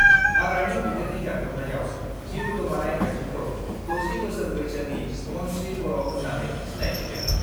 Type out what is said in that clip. हाग्रानि मैदेरनि गाग्लोबनायाव जिउ गोमानाय आइजोखौ 60 बोसोर बैसोनि मनस्रि बर' होन्नानै सिनायथिदों।